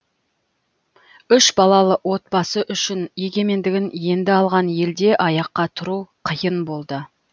үш балалы отбасы үшін егемендігін енді алған елде аяққа тұру қиын болды